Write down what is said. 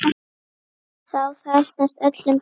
Þá farnast öllum best.